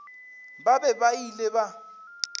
ba be ba ile ba